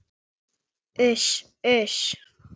Uss, uss.